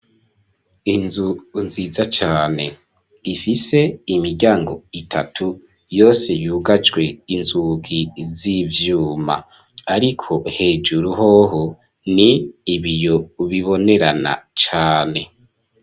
Inzu nziza cane ifise imiryango itatu yose yugajwe inzugi z'ibyuma ariko hejuru hoho ni ibiyo bibonerana cane.